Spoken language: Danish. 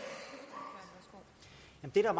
er